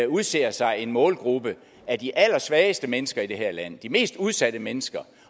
udser sig en målgruppe af de allersvageste mennesker i det her land de mest udsatte mennesker